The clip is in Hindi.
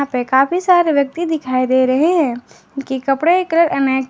काफी सारे व्यक्ति दिखाई दे रहे हैं जिनके कपड़े का कलर अनेक है।